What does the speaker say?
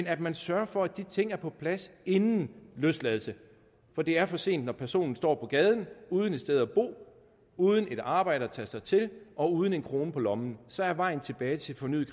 at man sørger for at de ting er på plads inden løsladelse for det er for sent når personen står på gaden uden et sted at bo uden et arbejde at tage sig til og uden en krone på lommen så er vejen tilbage til fornyet